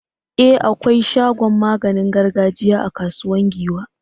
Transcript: E! akwai shagon maganin gargajiya a Kasuwar Giwa.